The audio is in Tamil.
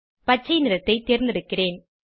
பச்சை நிறத்தை தேர்ந்தெடுக்கிறேன்